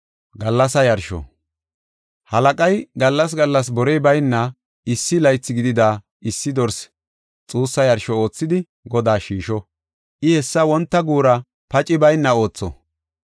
“Halaqay gallas gallas borey bayna issi laythi gidida issi dorse xuussa yarsho oothidi, Godaas shiisho; I hessa wonta guura pacey bayna ootho.